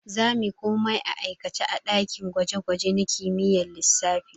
We will do everything practically in physics lab.